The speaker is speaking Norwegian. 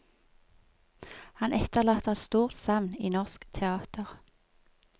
Han etterlater et stort savn i norsk teater.